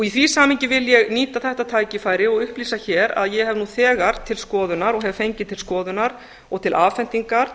í því samhengi vil ég nýta þetta tækifæri og upplýsa hér að ég hef nú þegar til skoðunar og hef fengið til skoðunar og til afhendingar